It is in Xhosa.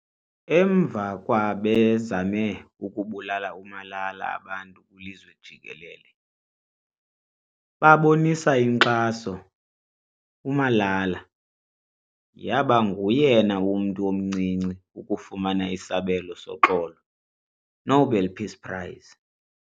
Emva kwa bezame ukubulala uMalala abantu kwilizwe jikelele babonisa inkxasouMalala yaba nguyena mntu omncinci ukufumana isabelo soxolo Nobel Peace Prize